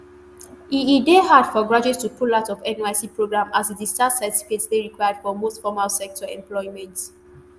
e e dey hard for graduates to pull out of nysc programme as di discharge certificate dey required for most formal sector employment